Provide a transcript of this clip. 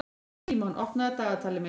Símon, opnaðu dagatalið mitt.